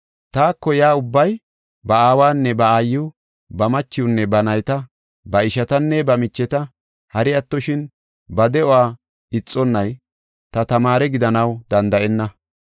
“Taako yaa ubbay ba aawanne ba aayiw, ba machiwnne ba nayta, ba ishatanne ba micheta, hari attoshin ba de7uwa ixonnay ta tamaare gidanaw danda7enna.